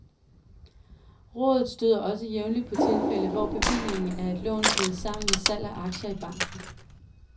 Rådet støder også jævnligt på tilfælde, hvor bevillingen af et lån kædes sammen med salg af aktier i banken.